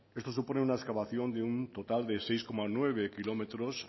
esto supone una excavación de un total de seis coma nueve kilómetros